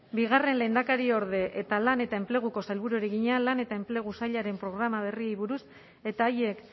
bigarren lehendakariorde eta lan eta enpleguko sailburuari egina lan eta enplegu sailaren programa berriei buruz eta haiek